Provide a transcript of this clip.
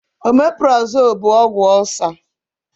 Ọmeprazole bụ ọgwụ ọcer